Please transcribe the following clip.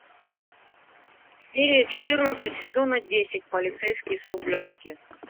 серия четырнадцать сезона десять полицейский с рублевки